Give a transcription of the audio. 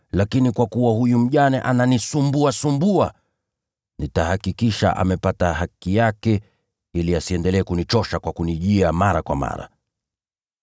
lakini kwa kuwa huyu mjane ananisumbuasumbua, nitahakikisha amepata haki yake ili asiendelee kunichosha kwa kunijia mara kwa mara!’ ”